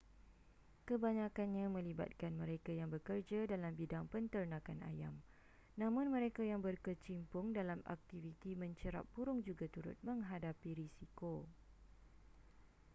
kebanyakannya melibatkan mereka yang bekerja dalam bidang penternakan ayam namun mereka yang berkecimpung dalam aktiviti mencerap burung juga turut menghadapi risiko